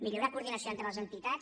millorar la coordinació entre les entitats